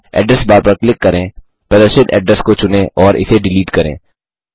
address bar पर click करें प्रदर्शित एड्रेस को चुनें और इसे डिलीट करें